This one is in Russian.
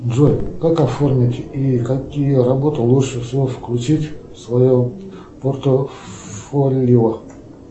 джой как оформить и какие работы лучше включить в свое портфолио